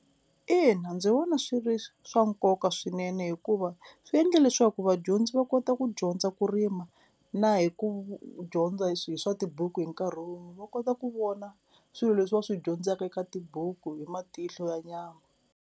Ina ndzi vona swi ri swa nkoka swinene hikuva swi endle leswaku vadyondzi va kota ku dyondza ku rima na hi ku dyondza hi hi swa tibuku hi nkarhi wun'we, va kota ku vona swilo leswi va swi dyondzaka eka tibuku hi matihlo ya nyama.